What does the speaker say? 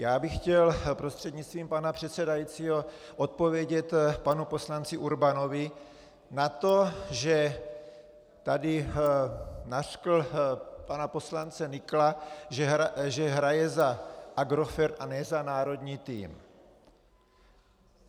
Já bych chtěl prostřednictvím pana předsedajícího odpovědět panu poslanci Urbanovi na to, že tady nařkl pana poslance Nykla, že hraje za Agrofert a ne za národní tým.